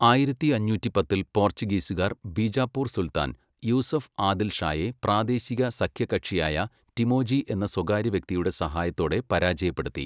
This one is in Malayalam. ആയിരത്തി അഞ്ഞൂറ്റി പത്തിൽ പോർച്ചുഗീസുകാർ ബിജാപൂർ സുൽത്താൻ, യൂസഫ് ആദിൽ ഷായെ പ്രാദേശിക സഖ്യകക്ഷിയായ ടിമോജി എന്ന സ്വകാര്യ വ്യക്തിയുടെ സഹായത്തോടെ പരാജയപ്പെടുത്തി.